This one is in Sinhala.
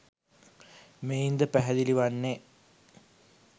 මෙයින් ද පැහැදිලි වන්නේ